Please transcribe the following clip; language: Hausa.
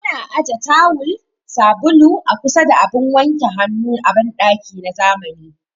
Ana aje taawul, sabulu a kusa da abun wanke hannu a banɗaki na zamani